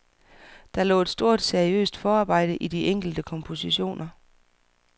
Der lå et stort seriøst forarbejde i de enkelte kompositioner.